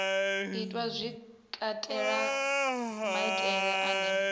itwa zwi katela maimele ane